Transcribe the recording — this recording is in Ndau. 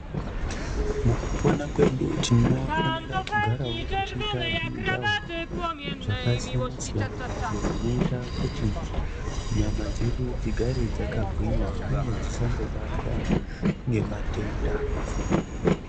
Mukupona kwedu tinofanirawo kugarawo techita zvimujaho zvakasiyana siyana izvo zvinoita kuti nyama dzedu dzigare dzakagwinya uye dzisangobatwa ngematenda.